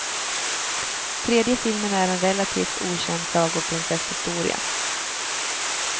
Tredje filmen är en relativt okänd sagoprinsesshistoria.